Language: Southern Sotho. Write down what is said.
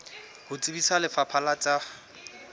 ho tsebisa lefapha la tsa